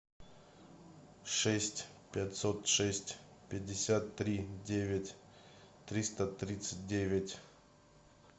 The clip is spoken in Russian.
шесть пятьсот шесть пятьдесят три девять триста тридцать девять